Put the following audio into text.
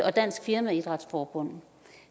og dansk firmaidrætsforbund